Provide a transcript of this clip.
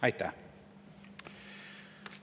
Aitäh!